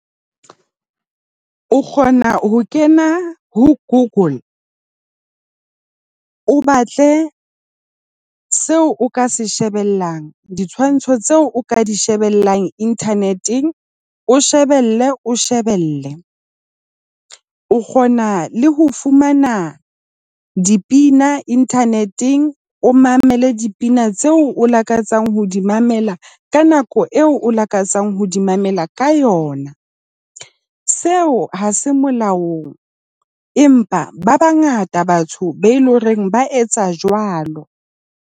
O kgona ho kena ho Google, o batle seo o ka se shebellang, ditshwantsho tseo o ka di shebellang internet-eng. O shebelle, o shebelle. O kgona le ho fumana dipina internet-eng. O mamele dipina tseo o lakatsang ho di mamela ka nako eo o lakatsang ho di mamela ka yona. Seo ha se molaong. Empa ba bangata batho be loreng ba etsa jwalo.